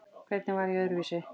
Hvernig var ég öðruvísi?